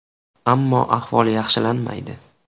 Ammo ahvol yaxshilanmaydi.